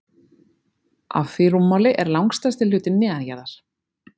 af því rúmmáli er langstærsti hlutinn neðanjarðar